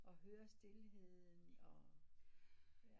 Og høre stilheden og ja